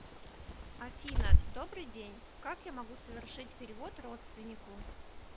афина добрый день как я могу совершить перевод родственнику